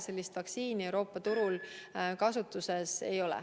Sellist vaktsiini Euroopa turul kasutusel ei ole.